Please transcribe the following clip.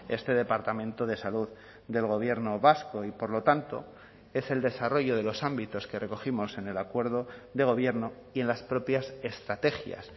este departamento de salud del gobierno vasco y por lo tanto es el desarrollo de los ámbitos que recogimos en el acuerdo de gobierno y en las propias estrategias